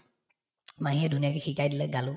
মাহীয়ে ধুনীয়াকে শিকাই দিলে গালো